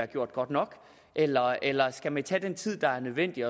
gjort godt nok eller eller skal man tage den tid der er nødvendig